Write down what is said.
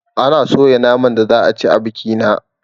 Ana soya naman da za a ci a bikina